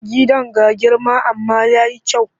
Gidan ga girma amma ya yi kyau.